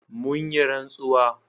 mun yi rantsuwa